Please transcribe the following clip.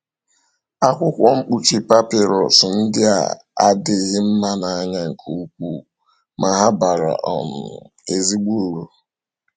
Akwụkwọ mkpuchi papịrụs ndị a adịghị mma n’anya nke ukwuu, ma ha bara um ezigbo uru.